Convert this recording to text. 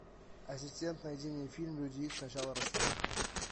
ассистент найди мне фильм люди икс начало росомаха